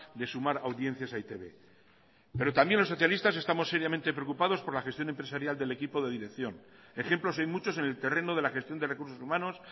de sumar audiencias a e i te be pero también los socialistas estamos seriamente preocupados por la gestión empresarial del equipo de dirección ejemplos hay muchos en el terreno de la gestión de recursos humanos